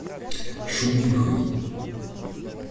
шумихой